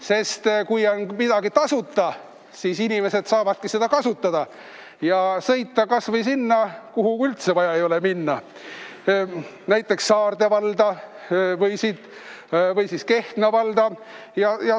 Sest kui on midagi tasuta, siis inimesed saavadki seda kasutada ja sõita kas või sinna, kuhu üldse vaja ei ole, näiteks Saarde valda või siis Kehtna valda.